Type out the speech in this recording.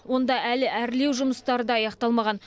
онда әлі әрлеу жұмыстары да аяқталмаған